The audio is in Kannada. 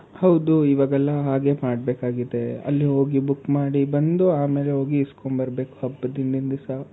ಹೌದು ಈವಾಗೆಲ್ಲ ಹಾಗೆ ಮಾಡ್ಬೇಕಾಗುತ್ತೆ. ಅಲ್ಲಿ ಹೋಗಿ book ಮಾಡಿ ಬಂದು ಆಮೇಲೆ ಹೋಗಿ ಇಸ್ಕೊಂಡು ಬರ್ಬೇಕಾಗುತ್ತೆ ಹಬ್ಬದ ಹಿಂದಿನ್ ದಿವ್ಸ.